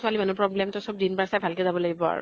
ছোৱালী মানুহ ৰ problem । চব দিন বাৰ চাই ভাল কে যাব লাগিব আৰু